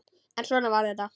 En svona var þetta.